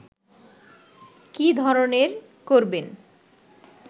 কী ধরনের করবেন